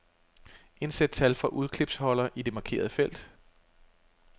Indsæt tal fra udklipsholder i det markerede felt.